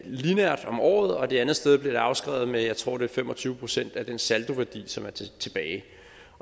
lineært om året og det andet sted bliver det afskrevet med jeg tror fem og tyve procent af den saldoværdi som er tilbage